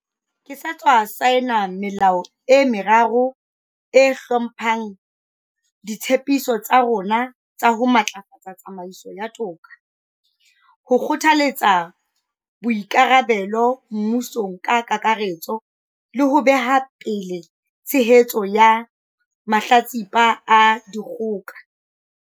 Ke sa tswa saena melao e meraro e hlomphang ditshe piso tsa rona tsa ho matlafatsa tsamaiso ya toka, ho kgothaletsa boikarabelo mmusong ka kakaretso le ho beha pele tshehetso ya mahlatsipa a dikgoka.